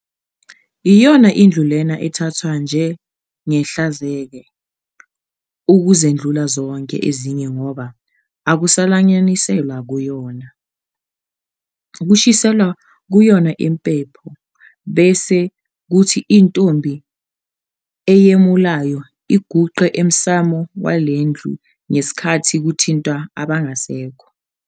Yiyona ndlu lena ethathwa njengehlanzeke ukuzedlula zonke ezinye ngoba akusalanyaniselwa kuyona. Kushiselwa kuyona impepho bese kuthi intombi eyemulayo iguqe emsamo wale ndlu ngesikhathi kuthintwa abangasekho.